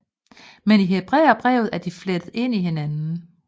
Men i Hebræerbrevet er de flettet ind i hinanden